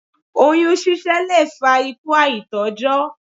Oyún ṣiṣẹ́ lè fa ikú àìtójó.